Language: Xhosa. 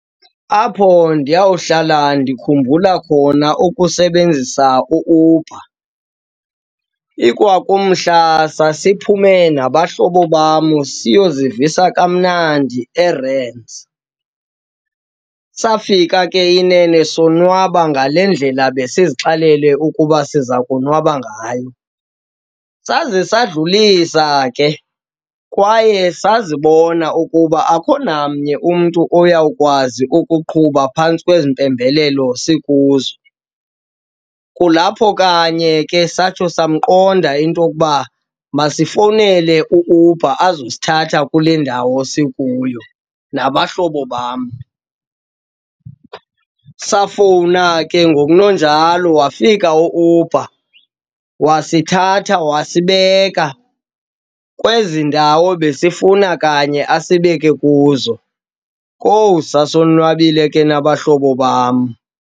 Apho ndiyawuhlala ndikhumbula khona ukusebenzisa u-Uber ikwa kumhla sasiphume nabahlobo bam siyozivisa kamnandi eRands. Safika ke inene sonwaba ngale ndlela besizixelele ukuba siza konwaba ngayo saze sadlulisa ke kwaye sazibona ukuba akukho namnye umntu oyawukwazi ukuqhuba phantsi kwezimpembelelo sikuzo. Kulapho kanye ke satsho samqonda into yokuba masifowunele u-Uber azozithatha kule ndawo sikuyo nabahlobo bam. Safowuna ke ngoku ngokunonjalo wafika u-Uber, wasithatha wasibeka kwezi ndawo besifuba kanye asibeke kuzo. Kowu, sasonwabile ke nabahlobo bam.